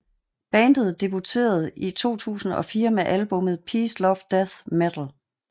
Bandet debuterede i 2004 med albummet Peace Love Death Metal